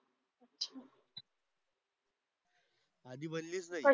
आधी बनलीच नाही.